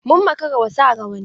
Mun makara wa sa rawanni.